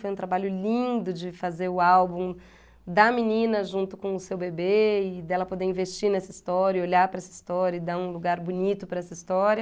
Foi um trabalho lindo de fazer o álbum da menina junto com o seu bebê e dela poder investir nessa história, olhar para essa história e dar um lugar bonito para essa história.